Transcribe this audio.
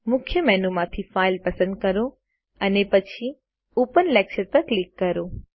મુખ્ય મેનુ માંથી ફાઇલ પસંદ કરો અને પછી ઓપન લેક્ચર પર ક્લિક કરો